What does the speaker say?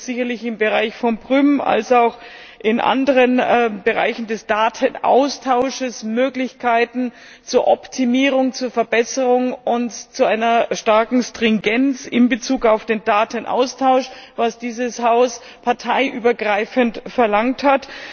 Da gibt es sicherlich im Bereich von Prüm als auch in anderen Bereichen des Datenaustausches Möglichkeiten zur Optimierung, zur Verbesserung und zu einer starken Stringenz in Bezug auf den Datenaustausch, was dieses Haus parteiübergreifend verlangt hat.